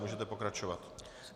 Můžete pokračovat.